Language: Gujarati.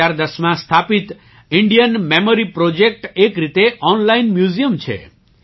વર્ષ 2010 માં સ્થાપિત ઇન્ડિયન મેમરી પ્રોજેક્ટ એક રીતે ઓનલાઇન મ્યુઝિયમ છે